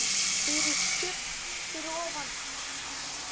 FYRIR STUBB fyrir ofan.